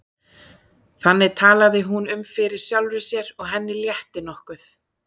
Þannig talaði hún um fyrir sjálfri sér og henni létti nokkuð.